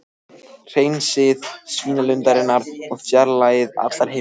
Hreinsið svínalundirnar og fjarlægið allar himnur.